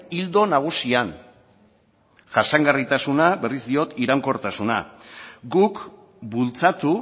ildo nagusian jasangarritasuna berriz diot iraunkortasuna guk bultzatu